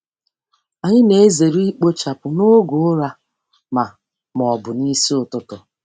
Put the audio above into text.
Anyị na-ezere ikpochapụ n'oge ụra ma ma ọ bụ n'isi ụtụtụ.